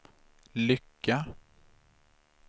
lycka